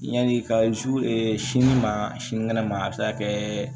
Yanni ka sini ma sinikɛnɛ ma a bɛ se ka kɛ